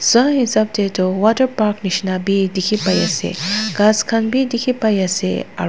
swa hisap te toh waterpark nishina bi dikhi pai ase ghass khan bi dikhi pai ase aru--